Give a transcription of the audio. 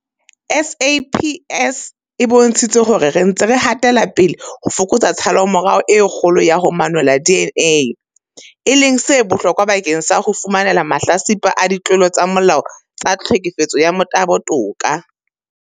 SAPS e bontshitse hore re ntse re hatela pele ho fokotsa tshallomora e kgolo ya ho manolla DNA, e leng se bohlokwa bakeng sa ho fumanela mahlatsipa a ditlolo tsa molao tsa tlhekefetso ya motabo toka.